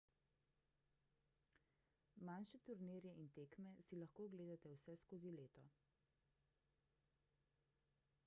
manjše turnirje in tekme si lahko ogledate vse skozi leto